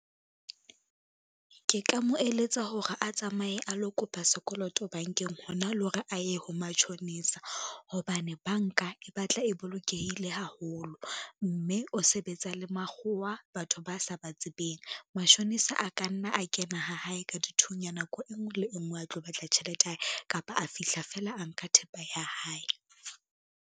Ke ka mo eletsa hore a tsamaye a lo kopa sekoloto bankeng hona le hore a ye ho matjhonisa, hobane banka e batla e bolokehile haholo, mme o sebetsa le makgowa batho ba sa ba tsebeng. Mashonisa a ka nna a kena ha hae ka dithunya nako e ngwe le e ngwe a tlo batla tjhelete ya hae, kapa a fihla fela a nka thepa ya hae.